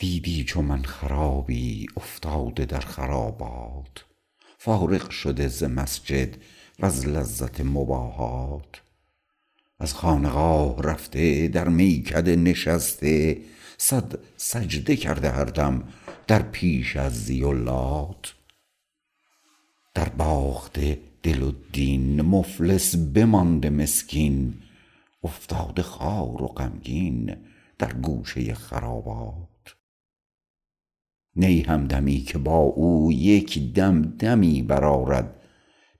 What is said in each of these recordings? دیدی چو من خرابی افتاده در خرابات فارغ شده ز مسجد وز لذت مباحات از خانقاه رفته در میکده نشسته صد سجده کرده هر دم در پیش عزی و لات در باخته دل و دین مفلس بمانده مسکین افتاده خوار و غمگین در گوشه خرابات نی همدمی که با او یک دم دمی برآرد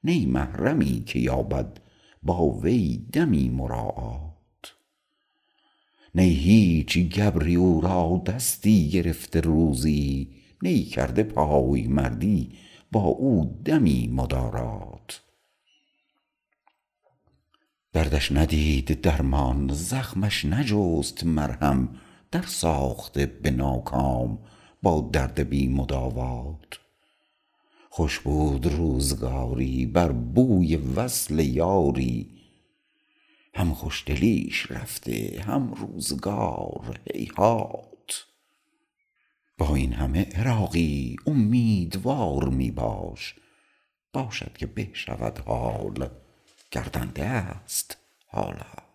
نی محرمی که یابد با وی دمی مراعات نی هیچ گبری او را دستی گرفت روزی نی کرده پایمردی با او دمی مدارات دردش ندید درمان زخمش نجست مرهم در ساخته به ناکام با درد بی مداوات خوش بود روزگاری بر بوی وصل یاری هم خوشدلیش رفته هم روزگار هیهات با این همه عراقی امیدوار می باش باشد که به شود حال گردنده است حالات